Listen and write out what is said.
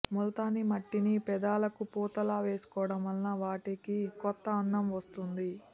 ముల్తానీమట్టిని పెదాలకు పూతలా వేసుకోవడం వల్ల వాటికి కొత్త అందం వస్తుంది